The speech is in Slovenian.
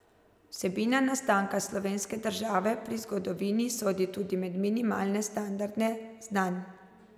Vsebina nastanka slovenske države pri zgodovini sodi tudi med minimalne standarde znanj.